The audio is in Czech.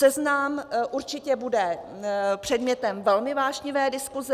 Seznam určitě bude předmětem velmi vášnivé diskuse.